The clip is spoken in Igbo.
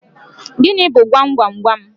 Gịnị bu gwam gwam gwam?